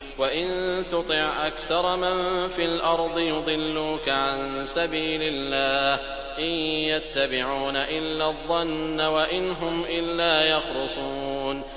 وَإِن تُطِعْ أَكْثَرَ مَن فِي الْأَرْضِ يُضِلُّوكَ عَن سَبِيلِ اللَّهِ ۚ إِن يَتَّبِعُونَ إِلَّا الظَّنَّ وَإِنْ هُمْ إِلَّا يَخْرُصُونَ